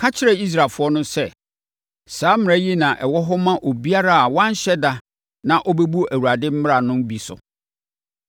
“Ka kyerɛ Israelfoɔ sɛ, ‘saa mmara yi na ɛwɔ hɔ ma obiara a wanhyɛ da na ɔbɛbu Awurade mmara no bi so.